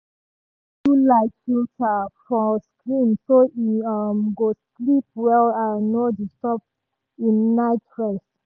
e dey use blue-light filter for screen so e um go sleep well and no disturb im night rest.